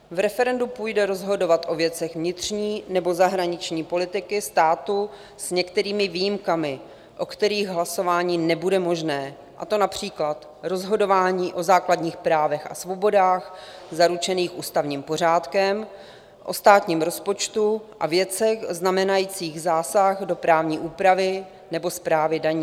V referendu půjde rozhodovat o věcech vnitřní nebo zahraniční politiky státu s některými výjimkami, o kterých hlasování nebude možné, a to například rozhodování o základních právech a svobodách zaručených ústavním pořádkem, o státním rozpočtu a věcech znamenajících zásah do právní úpravy nebo správy daní.